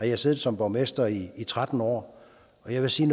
jeg siddet som borgmester i tretten år og jeg vil sige